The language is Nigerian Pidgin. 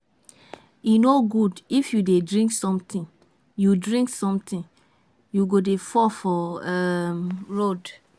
E no good if you dey drink sotee you drink sotee you go dey fall for um road.